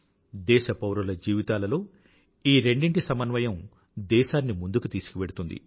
దేశపౌరుల జీవితాలలో ఈ రెండింటి సమన్వయం దేశాన్ని ముందుకు తీసుకువెళ్తుంది